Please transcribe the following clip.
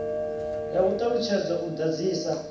ya u ṱalutshedza u ḓadzisa